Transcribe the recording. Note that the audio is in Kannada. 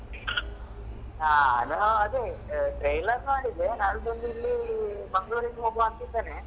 ಅಹ್ ಅದೇ trailer ನೋಡಿದೆ ನಾಡಿದ್ದು ಇಲ್ಲಿ manglore ಗೆ ಹೋಗುವ ಅಂತಾ ಇದೇನೇ